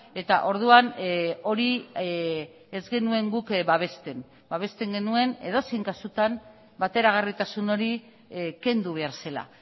eta orduan hori ez genuen guk babesten babesten genuen edozein kasutan bateragarritasun hori kendu behar zela